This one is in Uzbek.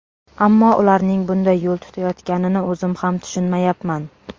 Ammo ularning bunday yo‘l tutayotganini o‘zim ham tushunmayapman.